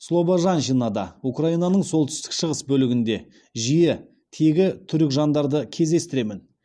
слобожанщинада украинаның солтүстік шығыс бөлігінде жиі тегі түрік жандарды кездестіремін